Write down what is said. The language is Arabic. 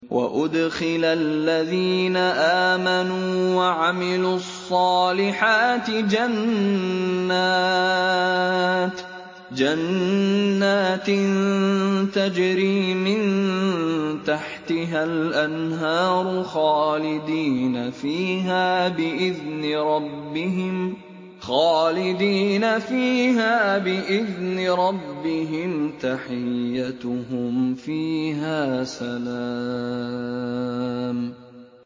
وَأُدْخِلَ الَّذِينَ آمَنُوا وَعَمِلُوا الصَّالِحَاتِ جَنَّاتٍ تَجْرِي مِن تَحْتِهَا الْأَنْهَارُ خَالِدِينَ فِيهَا بِإِذْنِ رَبِّهِمْ ۖ تَحِيَّتُهُمْ فِيهَا سَلَامٌ